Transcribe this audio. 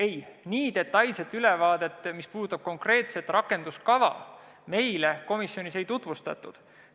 Ei, nii detailset ülevaadet, mis puudutab konkreetset rakenduskava, meile komisjonis ei tutvustatud.